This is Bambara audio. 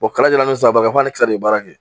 O kalajala. ni saba k'a ni kisɛ de bɛ baara kɛ